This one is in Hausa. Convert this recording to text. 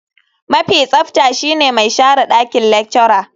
Mafi tsafta shine mai share dakin lecturer.